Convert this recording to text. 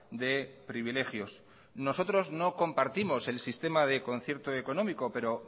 de privilegios nosotros no compartimos el sistema de concierto económico pero